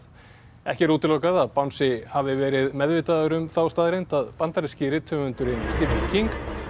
ekki er útilokað að bangsi hafi verið meðvitaður um þá staðreynd að bandaríski rithöfundurinn Stephen King